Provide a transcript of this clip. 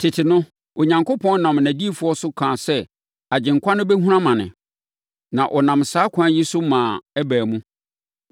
Tete no, Onyankopɔn nam nʼadiyifoɔ so kaa sɛ Agyenkwa no bɛhunu amane. Na ɔnam saa ɛkwan yi so maa ɛbaa mu.